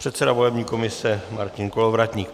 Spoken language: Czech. Předseda volební komise Martin Kolovratník.